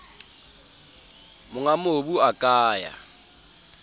monga mobu a ka ya